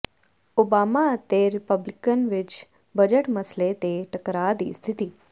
Obama ਅਤੇ Republican ਵਿੱਚ budget ਮਸਲੇ ਤੇ ਟੱਕਰਾਅ ਦੀ ਸਥਿਤੀ